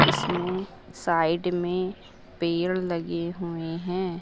इसमें साइड में पेड़ लगे हुए हैं।